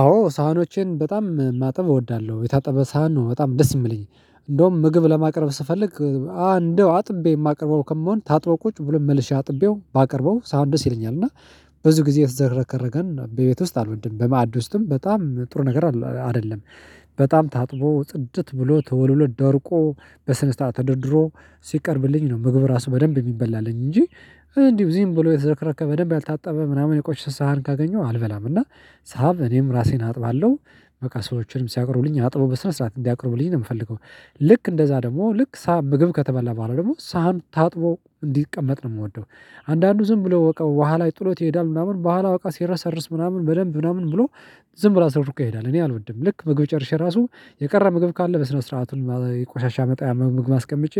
አዎ ሳህኖቼን በጣም ማጠብ እወዳለሁ የታጠበ ሳህን ነው በጣም ደስ የሚለኝ እንደውም ምግብ ለማቅረብ ስፈልግ አ እንደው አጥቤ የማቀርበው ከመሆን ታጥቦ ታጥበው ቁጭ ብሎ መልሼ አጥቤው ባቀርበው ሳህኑ ደስ ይለኛል። እና ብዙ ጊዜ የተዘረከረን በቤት ውስጥ አልወድም በማዕድ ውስጥም በጣም ጥሩ ነገር አይደለም። በጣም ታጥቦ ጽድት ብሎ ተወልውሎ ደርቆ በስነ ስርዓት ተደርድሮ ሲቀርብልኝ ነው ምግብ ራሱ በደንብ የሚበላልኝ እንጂ። እንዲሁ ዚም ብሎ የተዘረከረከ በደንብ ያልታጠበ ምናምን የቆሸሸ ሰሃን ካገኘው አልበላም። እና ሳብ እኔም ራሴን አጥባለሁ። በቃ ሰዎችንም ሲያቀርቡልኝ አጥቦ በስነ ስርዓት እንዲያቀርቡልኝ ነው የምፈልገው። ልክ እንደዛ ደግሞ ልክ ሳህን ምግብ ከተበላ በኋላ ደግሞ ሳህን ታጥቦ እንዲቀመጥ ነው የምወደው። አንዳንዱ ዝም ብለው አውቀው በኋላ ጥሎት ይሄዳል ምናምን በኋላ አውቀው ሲረሰርስ ምናምን በደንብ ምናምን ብሎ ዝም ብሎ አዝረክርኮ ይሄዳል እኔ አልወድም። ልክ ምግብ ጨርሼ ራሱ የቀረ ምግብ ካለ በስነ ስርዓቱን ቆሻሻ መጣያ ምግብ አስቀምጬ